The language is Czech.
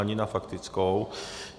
Ani na faktickou.